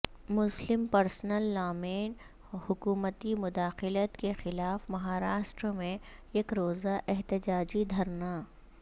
مسلم personal law میں حکومتی مداخلت کے خلاف مہاراشٹر میں یک روزہ احتجاجی دھرنا